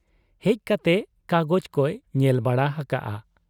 ᱦᱮᱡ ᱠᱟᱛᱮ ᱠᱟᱜᱚᱡᱽ ᱠᱚᱭ ᱧᱮᱞ ᱵᱟᱲᱟ ᱦᱟᱠᱟᱜ ᱟ ᱾